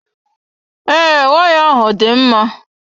Ee, waya ahụ dị mma.